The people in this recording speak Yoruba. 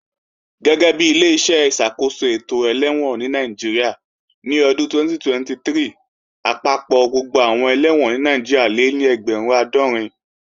Gẹ́gẹ́bi Ileṣẹ́ ìṣàkóso ètò ẹlẹ́wọ̀n ní Nàìjíríà, ní ọdún 2023, àpapọ̀ gbogbo àwọn ẹlẹ́wọ̀n ní Nàìjíríà lé ní ẹgbẹ̀rún àádọ́rin